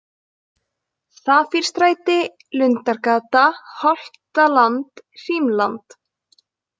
Safírstræti, Lundargata, Holtaland, Hrímland